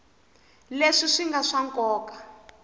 leswi swi nga swa nkoka